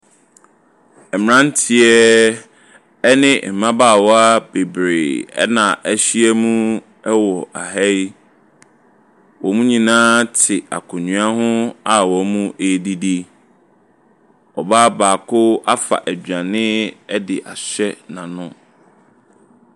Mmeranteɛ ne mmabaawa bebree na wɔahyia mu wɔ ha yi. Wɔn nyinaa te akonnwa ho a wɔredidi. Ɔbaa baako afa aduane de ahyɛ n'ano.